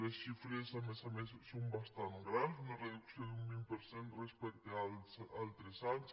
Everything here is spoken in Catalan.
les xifres a més a més són bastant grans una reducció d’un vint per cent respecte als altres anys